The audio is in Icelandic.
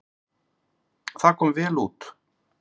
Það kom vel út.